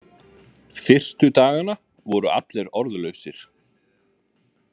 Fyrstu dagana voru allir orðlausir.